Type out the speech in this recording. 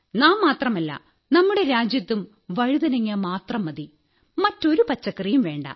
നാം മാത്രമല്ല നമ്മുടെ രാജ്യത്തും വഴുതനങ്ങ മാത്രം മതി മറ്റൊരു പച്ചക്കറിയും വേണ്ട